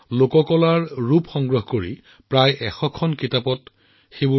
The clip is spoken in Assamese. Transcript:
আপোনালোকে আচৰিত হব যে এতিয়ালৈকে তেওঁ প্ৰায় ১০০ খন এনে কিতাপ লিখিছে